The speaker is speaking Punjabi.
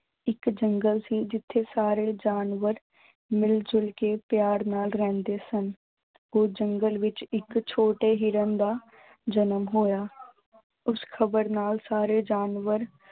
ਇੱਕ ਜੰਗਲ ਸੀ ਜਿੱਥੇ ਸਾਰੇ ਜਾਨਵਰ ਮਿਲ ਜੁਲ ਕੇ ਪਿਆਰ ਨਾਲ ਰਹਿੰਦੇ ਸਨ, ਉਹ ਜੰਗਲ ਵਿੱਚ ਇੱਕ ਛੋਟੇ ਹਿਰਨ ਦਾ ਜਨਮ ਹੋਇਆ ਉਸ ਖ਼ਬਰ ਨਾਲ ਸਾਰੇ ਜਾਨਵਰ